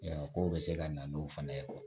Yan kow bɛ se ka na n'o fana ye